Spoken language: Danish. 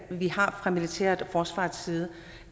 vi har fra militærets og forsvarets side